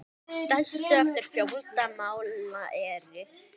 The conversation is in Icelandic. Stærstu eftir fjölda mála eru